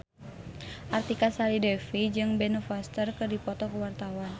Artika Sari Devi jeung Ben Foster keur dipoto ku wartawan